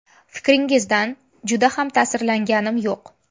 Fikringizdan juda ham ta’sirlanganim yo‘q”.